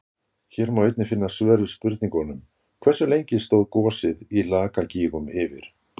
Hér er einnig að finna svör við spurningunum: Hversu lengi stóð gosið í Lakagígum yfir?